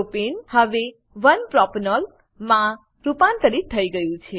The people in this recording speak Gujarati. પ્રોપને હવે 1 પ્રોપેનોલ માં રૂપાંતરિત થઇ ગયું છે